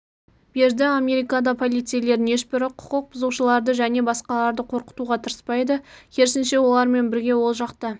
берді америкада полицейлердің ешбірі құқық бұзушыларды жне басқаларды қорқытуға тырыспайды керісінше олармен бірге ол жақта